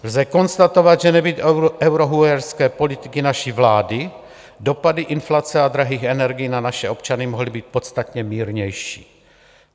Lze konstatovat, že nebýt eurohujerské politiky naší vlády, dopady inflace a drahých energií na naše občany mohly být podstatně mírnější.